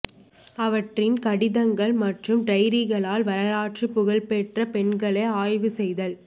அவற்றின் கடிதங்கள் மற்றும் டைரிகளால் வரலாற்றுப் புகழ் பெற்ற பெண்களை ஆய்வு செய்தல்